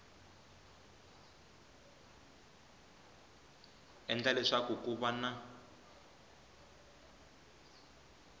endla leswaku ku va na